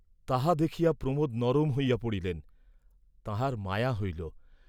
তাহা দেখিয়া প্রমোদ নরম হইয়া পড়িলেন, তাঁহার মায়া হইল।